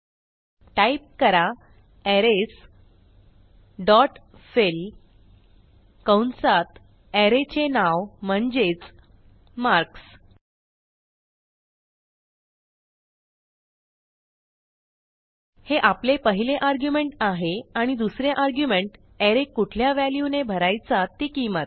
type करा arrays dot fill कंसात array चे नाव म्हणजेच मार्क्स हे आपले पहिले आर्ग्युमेंट आहे आणि दुसरे आर्ग्युमेंट अरे कुठल्या व्हॅल्यूने भरायचा ती किंमत